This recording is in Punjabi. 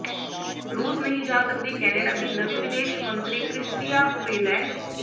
ਰੂਸ ਨਹੀਂ ਜਾ ਸਕਦੀ ਕੈਨੇਡਾ ਦੀ ਨਵੀਂ ਵਿਦੇਸ਼ ਮੰਤਰੀ ਕ੍ਰਿਸਟੀਆ ਫਰੀਲੈਂਡ